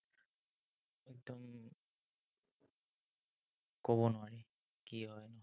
ক'ব নোৱাৰি, কি হয়।